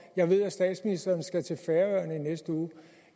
jeg ved at statsministeren skal til færøerne i næste uge